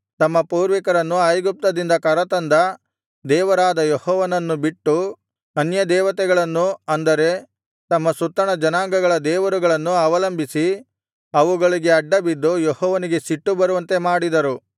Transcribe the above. ತಮ್ಮ ಪೂರ್ವಿಕರನ್ನು ಐಗುಪ್ತದಿಂದ ಕರತಂದ ದೇವರಾದ ಯೆಹೋವನನ್ನು ಬಿಟ್ಟು ಅನ್ಯದೇವತೆಗಳನ್ನು ಅಂದರೆ ತಮ್ಮ ಸುತ್ತಣ ಜನಾಂಗಗಳ ದೇವರುಗಳನ್ನು ಅವಲಂಬಿಸಿ ಅವುಗಳಿಗೆ ಅಡ್ಡಬಿದ್ದು ಯೆಹೋವನಿಗೆ ಸಿಟ್ಟು ಬರುವಂತೆ ಮಾಡಿದರು